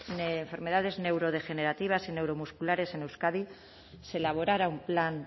de enfermedades neurodegenerativas y neuromusculares en euskadi se elaborara un plan